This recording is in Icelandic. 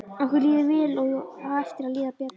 Okkur líður vel og á eftir að líða betur.